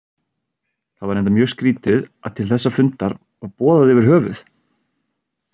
Það var reyndar mjög skrýtið að til þessa fundar var boðað yfir höfuð.